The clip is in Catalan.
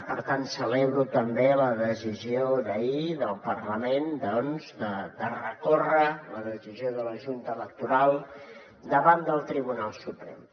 per tant celebro també la decisió d’ahir del parlament de recórrer la decisió de la junta electoral davant del tribunal suprem